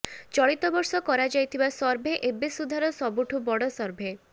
ଚଳିତବର୍ଷ କରାଯାଇଥିବା ସର୍ଭେ ଏବେ ସୁଦ୍ଧାର ସବୁଠୁ ବଡ଼ ସର୍ଭେ